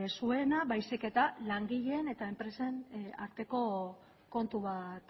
zuena baizik eta langileen eta enpresen arteko kontu bat